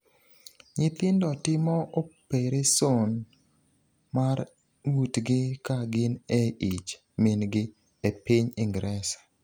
Nyithindo timo opereson mar ng’utgi ka gin e ich min-gi e piny Ingresa